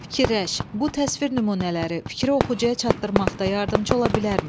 Fikirləş, bu təsvir nümunələri fikri oxucuya çatdırmaqda yardımçı ola bilərmi?